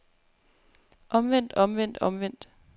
omvendt omvendt omvendt